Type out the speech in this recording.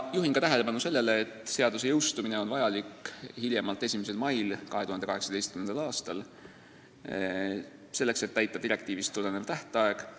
Juhin ka tähelepanu sellele, et seadus peaks jõustuma hiljemalt 1. mail 2018. aastal, selleks et mitte ületada direktiivist tulenevat tähtaega.